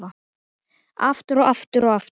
Aftur, og aftur, og aftur.